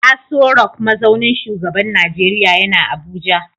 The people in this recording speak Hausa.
Aso Rock mazaunin shugaban Najeriya yana Abuja